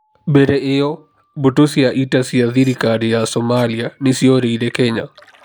Mbere ĩyo, mbũtũ cia ita cia thirikari ya Somalia nĩ ciorĩire Kenya.